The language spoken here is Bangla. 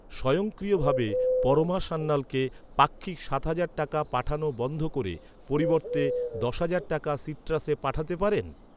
স্বয়ংক্রিয়ভাবে পরমা সান্যালকে পাক্ষিক সাত হাজার টাকা পাঠানো বন্ধ করে পরিবর্তে দশ হাজার টাকা সিট্রাসে পাঠাতে পারেন?